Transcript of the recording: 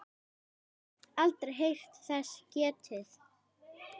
Hugrún: Aldrei heyrt þess getið?